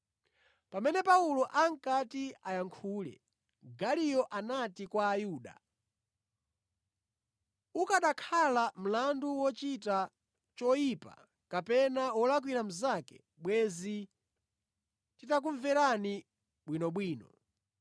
Pamene Paulo ankati ayankhule, Galiyo anati kwa Ayuda, “Ukanakhala mlandu wochita choyipa kapena wolakwira mnzake, bwenzi nditakumverani bwinobwino.